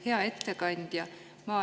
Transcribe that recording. Hea ettekandja!